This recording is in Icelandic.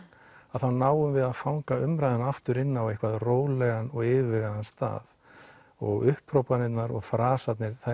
þá náum við að fanga umræðuna aftur inn á rólegan og yfirvegaðan stað og upphrópanirnar og frasarnir það